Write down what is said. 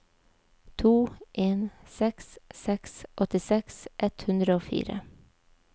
to en seks seks åttiseks ett hundre og fire